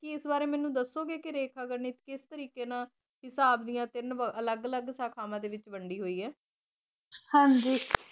ਕੇ ਏਸ ਬਾਰੇ ਮੇਨੂ ਦੱਸੋ ਗੇ ਕੇ ਰੇਖਾ ਗਣਿਤ ਕਿਸ ਤਰੀਕੇ ਨਾਲ ਹਿਸਾਬ ਡਿਯਨ ਤੀਨ ਅਲਗ ਅਲਗ ਸੰਖਾਵਾਂ ਡੀ ਵਿਚ ਵੰਡੀ ਹੋਈ ਆਯ ਹਾਂਜੀ